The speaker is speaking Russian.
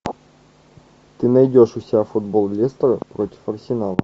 ты найдешь у себя футбол лестера против арсенала